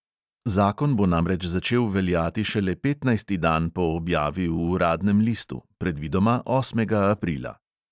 Zakon bo namreč začel veljati šele petnajsti dan po objavi v uradnem listu, predvidoma osmega aprila.